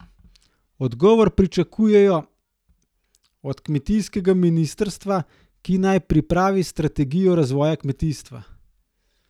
Odgovor pričakujejo od kmetijskega ministrstva, ki naj pripravi strategijo razvoja kmetijstva.